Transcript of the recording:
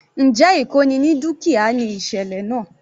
Njẹ́ ìkóni ní dúkìá ni ìsẹ̀lẹ̀ náà?